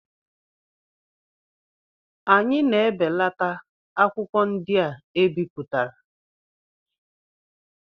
Anyị na-ebelata akwụkwọ ndị e bipụtara.